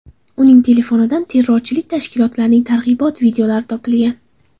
Uning telefonidan terrorchilik tashkilotlarining targ‘ibot videolari topilgan.